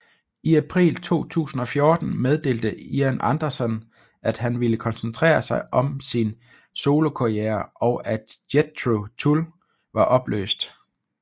I april 2014 meddelte Ian Anderson at han ville koncentrere sig om sin solokarriere og at Jethro Tull var opløst